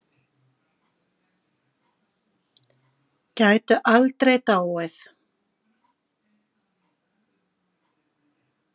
Gætu aldrei dáið.